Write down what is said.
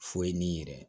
Foyi n'i yɛrɛ